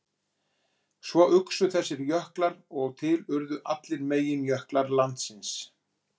Svo uxu þessir jöklar og til urðu allir meginjöklar landsins.